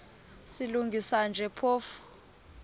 silungisa nje phofu